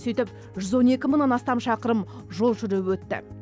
сөйтіп жүз он екі мыңнан астам шақырым жол жүріп өтті